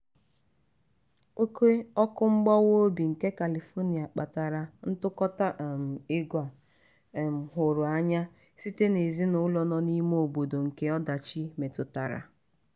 oke ọkụ mgbawa obi nke califonia kpatara ntụkọta um ego a um hụrụ anya site n'ezinụlọ nọ n'lme obodo nke ọdachi metụtara.